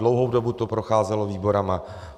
Dlouhou dobu to procházelo výbory.